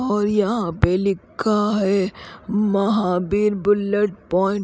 और यहां पे लिखा है महावीर बुल्लट प्वाइंट --